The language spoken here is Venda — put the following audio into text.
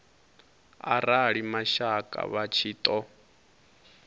arali mashaka vha tshi ṱo